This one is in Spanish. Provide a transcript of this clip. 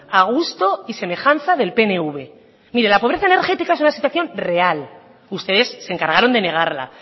a gusto y semejanza del pnv mire la pobreza energética es una situación real ustedes se encargaron de negarla